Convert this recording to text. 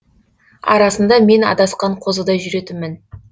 арасында мен адасқан қозыдай жүретінмін